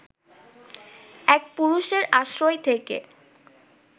এক পুরুষের আশ্রয় থেকে